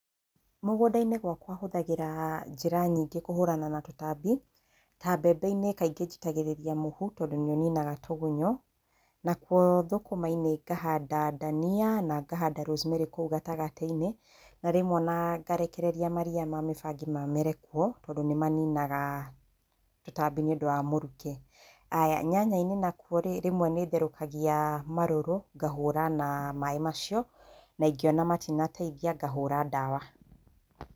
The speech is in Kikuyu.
Mũgũnda-inĩ gwakwa hũthagĩra njĩra nyingĩ kũhũrana na tũtambi, ta mbembe-inĩ kaingĩ njitagĩrĩria mũhu tondũ nĩ ũninaga tũgunyũ, nakuo thũkũma-inĩ ngahanda ndania na ngahanda rosemary kũu gatagatĩ-inĩ, na rĩmwe o na ngarekereria maria ma mĩbangi mamere kuo tondũ nĩ maninaga tũtambi nĩ ũndũ wa mũrukĩ. Aya nyanya-inĩ nakuo rĩ, rĩmwe nĩ therũkagia marũrũ, ngahũũra na maĩ macio, na ingĩona matinateithia ngahũũra ndawa.